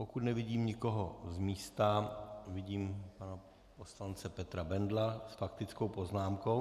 Pokud nevidím nikoho z místa... vidím pana poslance Petra Bendla s faktickou poznámkou.